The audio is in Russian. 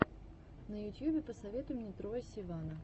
на ютьюбе посоветуй мне троя сивана